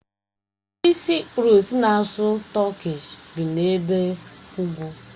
Ndị Saịprọs na-asụ Tọkish, bi n'ebe ugwu.